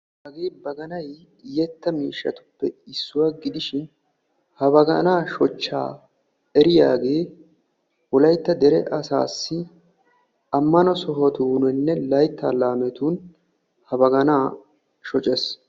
Hagee baganay yetta miishshatuppe issuwa gididshinha baggaana shochccha wolaytta dere asassi ammano sohotuninne laytta laametun ha bagana shoccees.